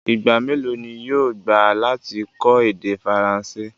Ìgba mẹlọ̀ ni yóò gbà lati kọ èdè Faransé?